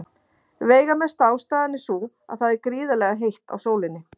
Veigamesta ástæðan er sú að það er gríðarlega heitt á sólinni.